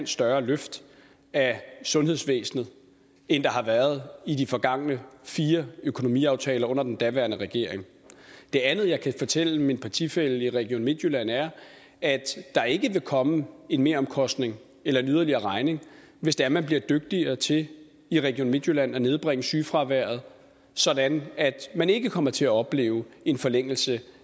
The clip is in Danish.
større løft af sundhedsvæsenet end der har været i de forgangne fire økonomiaftaler under den daværende regering det andet jeg kan fortælle min partifælle i region midtjylland er at der ikke vil komme en meromkostning eller en yderligere regning hvis det er man bliver dygtigere til i region midtjylland at nedbringe sygefraværet sådan at man ikke kommer til at opleve en forlængelse